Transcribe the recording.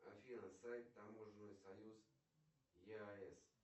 афина сайт таможенный союз еаэс